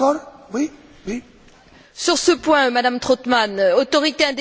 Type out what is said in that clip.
Sur ce point, Madame Trautmann, autorité indépendante sur le papier, oui.